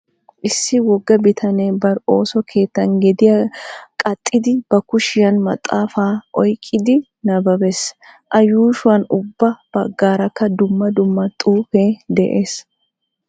Issi wogga bitanee bari ooso keettan gediya qaxxidi ba kushiyan maxaafaa oyqqidi nabbabees. A yuushuwan ubba baggaarakka dumma dumma xuufee de'ees.